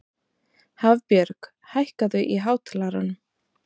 Hafbjörg, hækkaðu í hátalaranum.